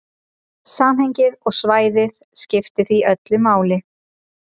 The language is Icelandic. Samhengið og svæðið skiptir því öllu máli.